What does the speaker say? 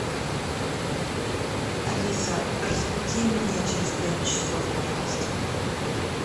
алиса разбуди меня через пять часов пожалуйста